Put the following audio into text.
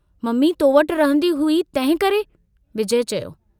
Mummy तो वटि रहंदी हुई तंहिंकरे" विजय चयो।